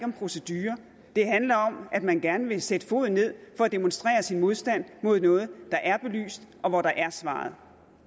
procedurer det handler om at man gerne vil sætte foden ned for at demonstrere sin modstand mod noget der er belyst og hvor der er svaret